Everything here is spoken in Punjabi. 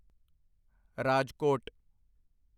ਰਾਜਕੋਟ